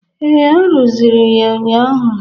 Ee, arụzịrị ya ụnyaahụ